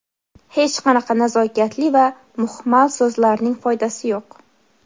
Hech qanaqa nazokatli va muhmal so‘zlarning foydasi yo‘q.